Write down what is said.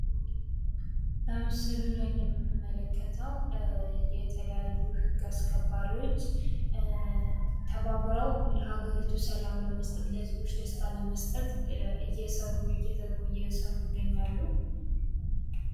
በምስሉ ላይ የምንመለከተው የተለያዩ የህግ አስከባሪዎች ተባብረው ለሀገሪቱ ሰላም ለመስጠት ለህዝቡ ደስታን ለመስጠት እየሰሩ እየተጉ ይገኛሉ።